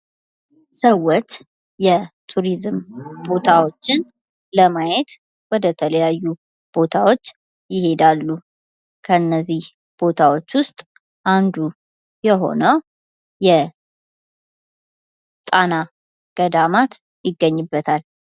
ሰዎች የቱሪዝም ቦታዎችን ለማየት ወደ ተለያዩ ቦታዎች ይሄዳሉ። ከነዚህ ቦታዎች ዉስጥ አንዱ የሆነው የጣና ገዳማት ይገኝበታል፡፤